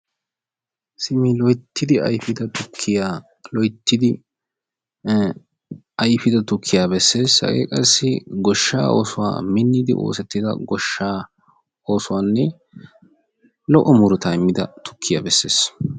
simi loyttidi ayfida tukkiya bessees; hage qassi goshshaa oosuwaa miniddi oosetidda goshsha oosuwanne lo"o murutaa immida tukkiyaa bessees